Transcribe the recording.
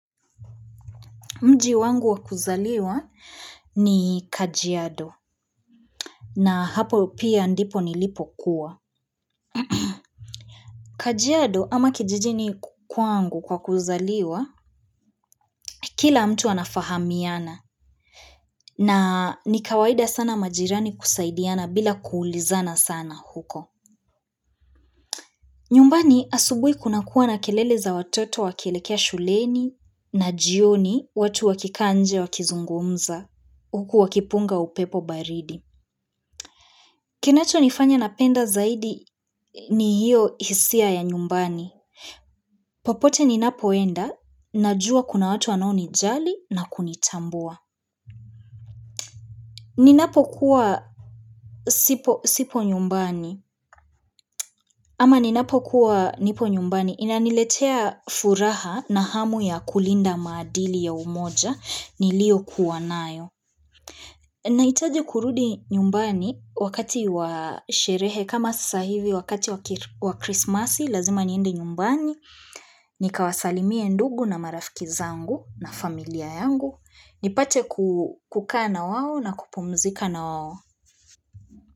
Mji wangu wakuzaliwa ni kajiado na hapo pia ndipo nilipo kuwa. Kajiado ama kijijini kwangu kwa kuzaliwa, kila mtu anafahamiana na nikawaida sana majirani kusaidiana bila kuulizana sana huko. Nyumbani asubuhi kuna kuwa na kelele za watoto wakielekea shuleni na jioni watu wakikaa nje wakizungumza huku wakipunga upepo baridi. Kinacho nifanya napenda zaidi ni hiyo hisia ya nyumbani. Popote ninapoenda, najua kuna watu anoni jali na kunitambua. Ninapo kuwa sipo sipo nyumbani, ama ninapo kuwa nipo nyumbani, inaniletea furaha na hamu ya kulinda maadili ya umoja, nilio kuwanayo. Nahitaji kurudi nyumbani wakati wa sherehe kama sasa hivi wakati wa krismasi lazima niende nyumbani, ni kawasalimie ndugu na marafiki zangu na familia yangu, ni pache ku kukaa na wao na kupumzika na wao.